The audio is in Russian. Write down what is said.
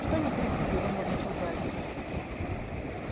что не перепутай занервничал гарри